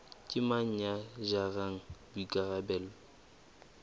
ke mang ya jarang boikarabelo